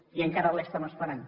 i encara l’estem esperant